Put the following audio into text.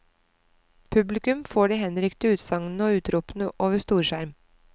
Publikum får de henrykte utsagnene og utropene over storskjerm.